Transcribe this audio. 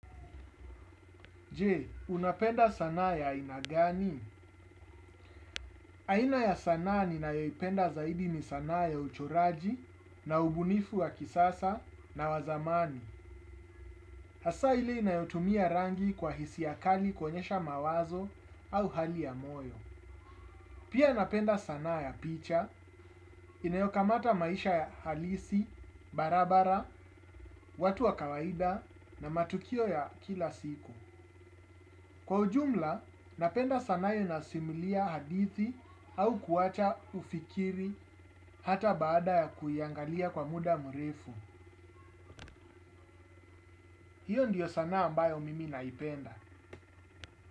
Je, unapenda sanaa ya aina gani? Aina ya sanaa ninayoyipenda zaidi ni sanaa ya uchoraji na ubunifu wa kisasa na wa zamani. Hasaa ile inayotumia rangi kwa hisia kali kuoenyesha mawazo au hali ya moyo. Pia ninapenda sanaa ya picha, inayokamata maisha ya halisi, barabara, watu wa kawaida na matukio ya kila siku. Kwa ujumla, ninapenda sanaa inayosimulia hadithi au kuacha ufikiri hata baada ya kuiangalia kwa muda mrefu. Hiyo ndiyo sanaa ambayo mimi ninaipenda.